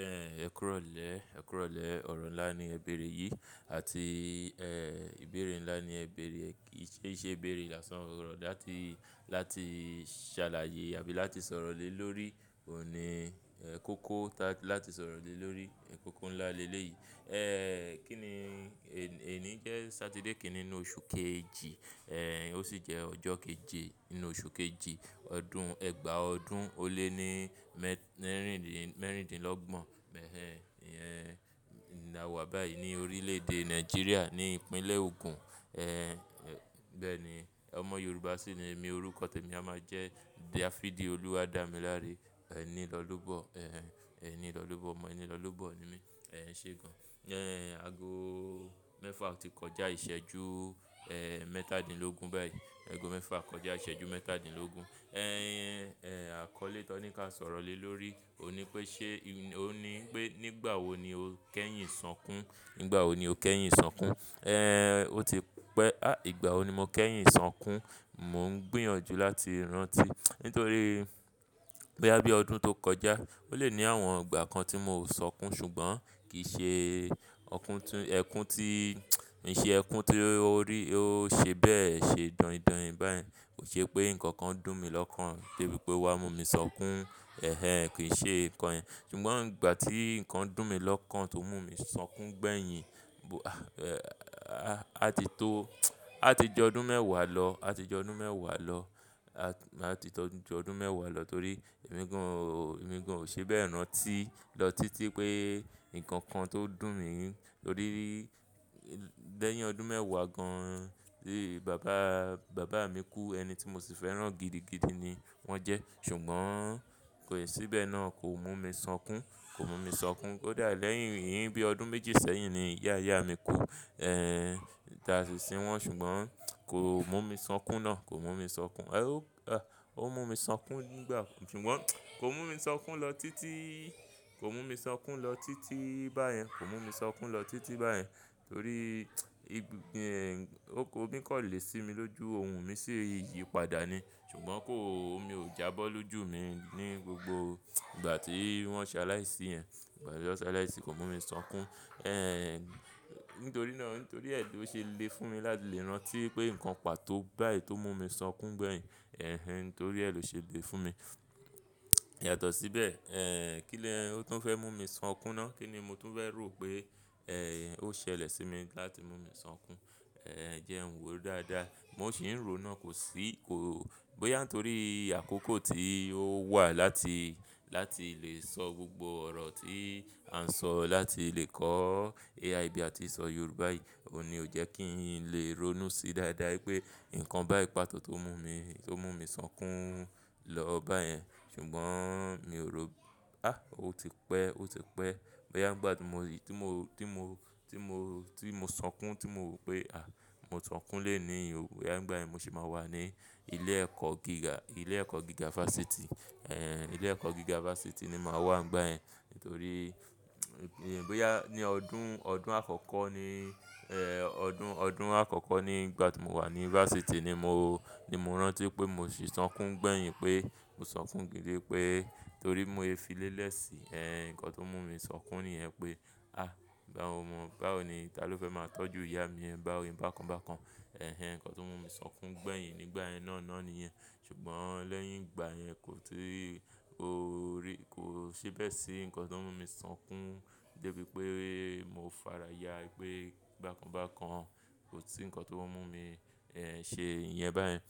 Ẹ̀ẹ̀, ẹ kúròlè, ẹ kúròlè ọ̀rọ̀ ńlá ni Ẹ bẹ̀rẹ̀ yìí àti ẹ ìbéèrè ńlá ni ẹ bẹ̀rẹ̀ è, kí ṣe ìṣe bẹ̀rẹ̀ lásàn ọ̀rọ̀ láti, láti ṣàlàyé àbí láti sọ̀rọ̀ lé lórí òhun ní ẹ kóko tá-- láti sọ̀rọ̀ lé lórí kòkò ńlá lelé yìí. Ẹ̀ ẹ kíni èní jẹ́ Satide kìíní oṣù kejì ẹ ó sì jẹ́ ọjọ́ keje nínú oṣù kejì ọdún ẹgba ọdún ó lé ní mẹ́rìndínlọ́gbọ̀n mẹ̀hẹn. Ẹ̀ nà wà báyìí ní orílẹ̀ èdè Nigeria ní ìpínlẹ̀ Ogun. Ẹ bẹ́ẹ̀ ni ọmọ Yorùbá sì ni mí orúkọ tèmi a máa jẹ́ Dafidi Oluwadamilare ẹni lọ́lúbọ̀ ẹ ẹni lọ́lúbọ̀ ọmọ ẹni lọ́lúbọ̀ ni mí. Ẹ ṣé gan. Ẹ àgo mẹ́fà ọtí kọjá ìṣẹ́jú ẹ mẹ́tàdínlógún báyìí. Ẹ̀go mẹ́fà kọjá ìṣẹ́jú mẹ́tàdínlógún. Ẹ àkọ́lé Tóníkà sọ̀rọ̀ lé lórí òní pé ṣé òní pé nígbà wo ni o kẹ́yìn san kún? Nígbà wo ni o kẹ́yìn san kún? Ẹ ò ti pẹ́, à ìgbà wo ni mo kẹ́yìn san kún? Mò ń gbìyànjú láti rántí nítorí bóyá bí ọdún tó kọjá ó lè ní àwọn ìgbà kan tí mò ń sọkún ṣùgbọ́n kì í ṣe ọkún tún ẹkún tí, mi ṣe ẹkún tí ó rí ó ṣe bẹ́ẹ̀ ṣe dọ̀hindọ̀hìn báyẹn. Kò ṣe pé ǹkan kan dùn mi lọ́kàn de bí pé o wá mú mi sọkún ẹ́hẹn kì í ṣe kọ̀yẹn. Ṣùgbọ́n ìgbà tí ǹkan dùn mi lọ́kàn tó mú mi sọkún gbẹ̀yìn, a ti tó, a ti jọ ọdún mẹ́wàá lọ, a ti jọ ọdún mẹ́wàá lọ, a ti tọ́ jọ ọdún mẹ́wàá lọ torí emìgàn, emìgàn ò ṣe bẹ́ẹ̀ náà tí lọ títí pé ǹkan kan tó dùn mi lórí lẹ́yìn ọdún mẹ́wàá gan. Bíi bàbá, bàbá mi kú ẹni tí mo sì fẹ́ràn gidigidi ni wọ́n jẹ́ ṣùgbọ́n kò ì ṣíbẹ̀ náà kò mú mi sọkún, kò mú mi sọkún. Ó dà lẹ́yìn yìí bíi ọdún méjì sẹ́yìn ni ìyá ìyá mi kú ẹ́dàà sí i wọn ṣùgbọ́n kò mú mi sọkún náà, kò mú mi sọkún. Ẹ ó, ó mú mi sọkún nígbà, ṣùgbọ́n kò mú mi sọkún lọ títí, kò mú mi sọkún lọ títí báyẹn, kò mú mi sọkún lọ títí báyẹn torí ibi ẹ òkó mi kọ̀lẹ̀ sí mi lójú ohùn mi sì yi padà ni ṣùgbọ́n kó mi ò jábọ́ lójú mi ní gbogbo ìgbà tí wọ́n ṣe aláìsí yẹn. Ìgbà tí wọ́n ṣe aláìsí kò mú mi sọkún. Ẹ̀ nítorí náà nítorí ẹ ló ṣe le fún mi láti lè rántí pé ǹkan pàtó báyìí tó mú mi sọkún gbẹ̀yìn ẹ́hẹn torí ẹ ló ṣe le fún mi. Yàtọ̀ síbẹ̀ ẹ́ kí ló tún fẹ́ mú mi sọkún náà? Kí ni mo tún fẹ́ rò pé ẹ ó ṣẹlẹ̀ sí mi láti mú mi sọkún? Ẹ jẹ́ n wo dáadáa. Mo sì ń ro náà kò sí kò bóyá nítorí àkókò tí ó wà láti, láti lè sọ gbogbo ọ̀rọ̀ tí a ń sọ láti lè kọ́ AI bí a ti ń sọ Yorùbá yìí ò ní ò jẹ́ kí n lè ronú sí dáadáa pé ǹkan báì pàtó tó mú mi, tó mú mi sọkún lọ báyẹn. Ṣùgbọ́n mi ò rò ó, à ó ti pẹ́, ó ti pẹ́ bóyá ìgbà tí mo rí, tí mo, tí mo, tí mo, tí mo sọkún tí mo wí pé à mó sọkún léèyín òbí. Ìgbà yẹn mo sì máa wà ní ilé ẹ̀kọ́ gíga, ilé ẹ̀kọ́ gíga fásitì. Ẹ ilé ẹ̀kọ́ gíga fásitì ni màá wà nígbà yẹn nítorí ìgbéyà ní ọdún, ọdún àkọ́kọ́ ni ẹ ọdún, ọdún àkọ́kọ́ ní ìgbà tí mo wà ní fásitì ni mo, ni mo rántí pé mo sì sọkún gbẹ̀yìn pé mo sọ fún gidi pé torí mo fi lélẹ̀ sí ẹ́hẹn ǹkan tó mú mi sọkún nìyẹn pé à báwo mọ, báwo ni ta ló fẹ́ máa tọ́jú ìyá mi yẹn báwo bákan bákan. Ẹ̀hẹn ǹkan tó mú mi sọkún gbẹ̀yìn nígbà yẹn náà ni yẹn. Ṣùgbọ́n lẹ́yìn ìgbà yẹn kò tíì ó rí kò ṣe bẹ́ẹ̀ sí ǹkan tó mú mi sọkún dé bí pé mo fára yà pé bákan bákan kò sí ǹkan tó mú mi ẹ ṣe ìyẹn báyẹn.